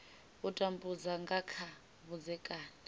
u tambudza nga kha vhudzekani